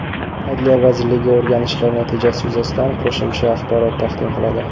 Adliya vazirligi o‘rganishlar natijasi yuzasidan qo‘shimcha axborot taqdim qiladi.